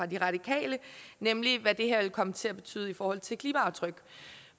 de radikale nemlig hvad det her vil komme til at betyde i forhold til klimaaftryk